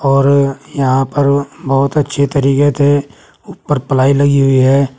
और यहां पर बहुत अच्छी तरीके से ऊपर प्लाई लगी हुई हे।